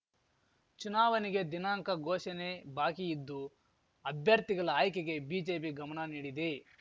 ಚುನಾವನೆಗೆ ದಿನಾಂಕ ಘೋಷಣೆ ಬಾಕಿ ಇದ್ದು ಅಭ್ಯರ್ಥಿಗಲ ಆಯ್ಕೆಗೆ ಬಿಜೆಪಿ ಗಮನ ನೀಡಿದೆ